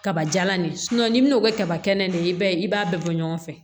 Kaba jalan ni n'i bɛna o kɛ kaba kɛnɛ de ye i b'a ye i b'a bɛɛ bɔ ɲɔgɔn fɛ